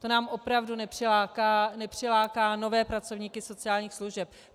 To nám opravdu nepřiláká nové pracovníky sociálních služeb.